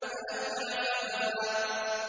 فَأَتْبَعَ سَبَبًا